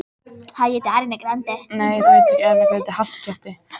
Eins og fram hefur komið eru strákar algengari en stelpur.